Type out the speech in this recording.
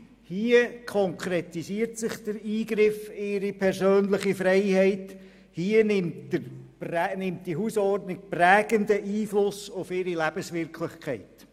Hier konkretisiert sich der Eingriff in ihre persönliche Freiheit, hier nimmt die Hausordnung prägenden Einfluss auf ihre Lebenswirklichkeit.